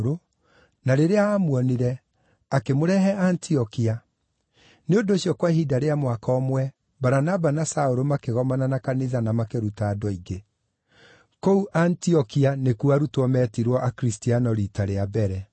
na rĩrĩa aamuonire akĩmũrehe Antiokia. Nĩ ũndũ ũcio kwa ihinda rĩa mwaka ũmwe Baranaba na Saũlũ makĩgomana na kanitha na makĩruta andũ aingĩ. Kũu Antiokia nĩkuo arutwo meetirwo Akristiano riita rĩa mbere.